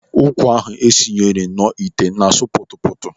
Ụkwa ahụ esinyere nọ ite na-asụ kputu kputu.